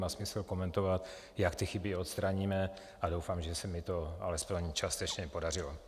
Má smysl komentovat, jak ty chyby odstraníme, a doufám, že se mi to alespoň částečně podařilo.